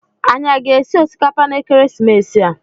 Anyi aga esi osikapa na ekeresimesi a?